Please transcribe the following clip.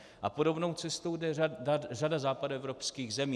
A podobnou cestou jde řada západoevropských zemí.